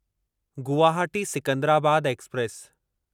Guwahati Secunderabad express